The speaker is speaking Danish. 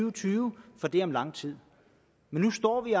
og tyve for det er om lang tid men nu står vi